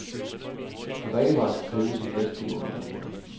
Drikkevarer skal købes i gæstgiveriet.